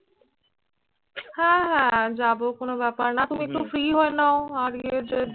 হ্যাঁ হ্যাঁ যাবো কোন ব্যাপার না। তুমি একটু free হয়ে নাও। আর ইয়ে যে